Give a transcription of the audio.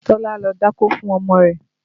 Tọ́lá lọ dákó fún ọmọ rẹ̀